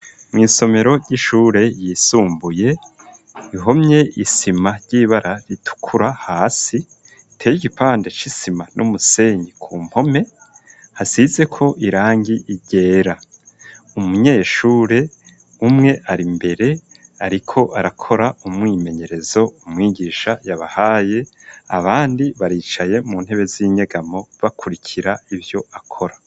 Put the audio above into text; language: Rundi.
Mw'isomero ry'ishure yisumbuye ihomye isima ry'ibara ritukura hasi, iteye igipande c'isima n'umusenyi ku mpome, hasizeko irangi ryera. Umunyeshure umwe ari imbere ariko arakora umwimenyerezo umwigisha yabahaye, abandi baricaye mu ntebe z'inyegamo bakurikira ivyo akora.